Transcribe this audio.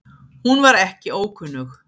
Hún var ekki ókunnug